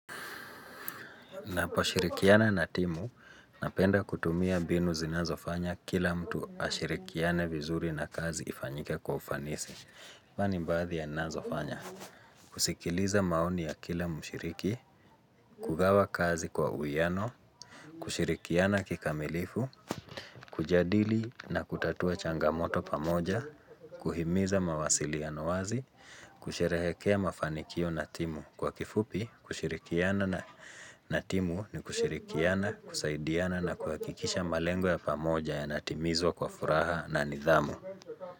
Na pashirikiana na timu, napenda kutumia binu zinazofanya kila mtu ashirikiane vizuri na kazi ifanyike kwa ufanisi Vani mbathi ya nazofanya. Kusikiliza maoni ya kila mshiriki. Kugawa kazi kwa uiano, kushirikiana kikamilifu. Kujadili na kutatua changamoto pamoja, kuhimiza mawasiliano wazi, kusherehekea mafanikio natimu kwa kifupi, kushirikiana na natimu ni kushirikiana, kusaidiana na kuhakikisha malengo ya pamoja ya natimizwa kwa furaha na nidhamu.